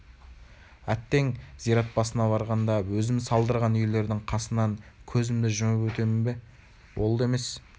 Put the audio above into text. әттең зират басына барғанда өзім салдырған үйлердің қасынан кезімді жұмып өтемін бе ол да емес